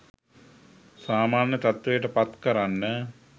සාමාන්‍ය තත්ත්වයට පත් කරන්න.